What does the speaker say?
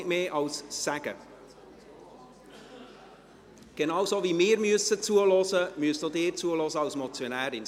Genauso wie wir zuhören müssen, müssen auch Sie als Motionärin zuhören.